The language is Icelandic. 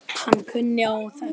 Hann kunni á þetta allt.